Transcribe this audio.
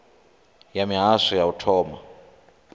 ya mihasho ya u thoma